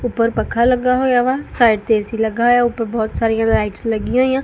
ਉੱਪਰ ਪੱਖਾ ਲੱਗਾ ਹੋਇਆ ਵਾ ਸਾਈਡ ਤੇ ਏ_ਸੀ ਲੱਗਾ ਹੋਇਆ ਉੱਪਰ ਬਹੁਤ ਸਾਰੀਆਂ ਲਾਈਟਸ ਲੱਗੀਆਂ ਹੋਈਆਂ --